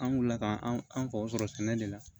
An wulila ka an faw sɔrɔ sɛnɛ de la